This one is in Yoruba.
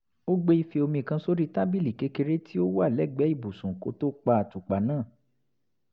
ó gbé ife omi kan sórí tábìlì kékeré tí ó wà lẹ́gbẹ̀ẹ́ ibùsùn kó tó pa àtùpà náà